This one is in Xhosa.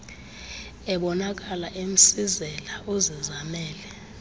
ebonakala emsizela uzizamele